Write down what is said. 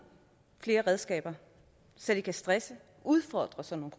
flere redskaber så de kan stresse og udfordre sådan